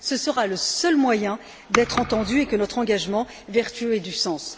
Ce sera le seul moyen d'être entendus et que notre engagement vertueux ait du sens.